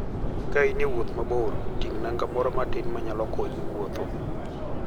Ka in e wuoth moro mabor, ting' nanga moro matin ma nyalo konyi wuotho.